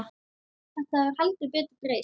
Þetta hefur heldur betur breyst.